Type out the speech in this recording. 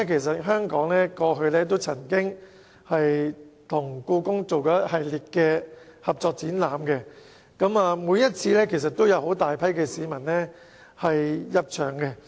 再者，香港過去曾經和故宮博物院進行一系列合作展覽，每次都有很多市民入場。